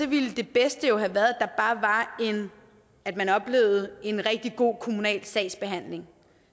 ville det bedste jo have været at man oplevede en rigtig god kommunal sagsbehandling